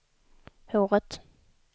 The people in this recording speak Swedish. håret